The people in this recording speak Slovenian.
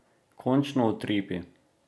Končno utripi.